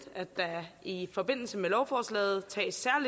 at der i forbindelse med lovforslaget tages